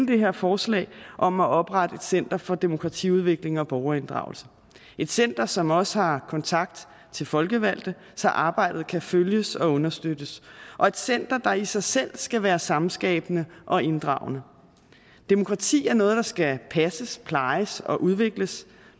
det her forslag om at oprette et center for demokratiudvikling og borgerinddragelse et center som også har kontakt til folkevalgte så arbejdet kan følges og understøttes og et center der i sig selv skal være samskabende og inddragende demokrati er noget der skal passes plejes og udvikles